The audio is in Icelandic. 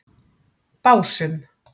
Básum